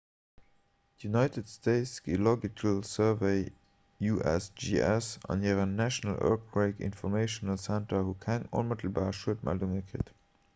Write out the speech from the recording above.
d'united states geological survey usgs an hiren national earthquake information center hu keng onmëttelbar schuedmeldunge kritt